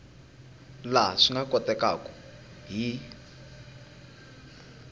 laha swi nga kotekaku hi